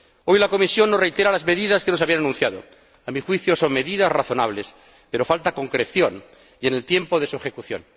Hoy la Comisión nos reitera las medidas que nos había anunciado. A mi juicio, son medidas razonables, pero falta concreción en el tiempo de su ejecución.